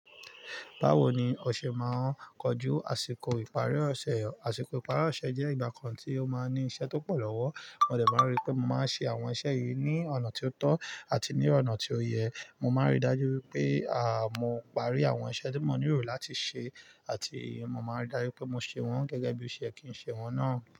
Báwo ni o ṣe máa ń kojú àsìkò ìparí ọ̀ṣẹ́? Àsìkò ìparí ọ̀ṣẹ́ jẹ́ ìgbà kan tí ó máa ń ní iṣẹ́ tó pọ̀ lọ́wọ́. Mo dẹ̀ máa rí pé mo máa ń ṣe àwọn iṣẹ́ yìí ní ọ̀nà tí ó tọ́ àti ní ọ̀nà tí ó yẹ. Mo máa ń rí dájú wipé, à, mo parí àwọn iṣẹ́ tí mo nílò láti ṣe àti mo máa ń rí dájú pé mo ṣe wọ́n gẹ́gẹ́ bí iṣe kí n ṣe wọ́n náà.